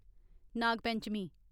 Nag Panchami